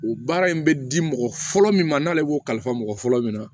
U baara in bɛ di mɔgɔ fɔlɔ min ma n'ale b'o kalifa mɔgɔ fɔlɔ min na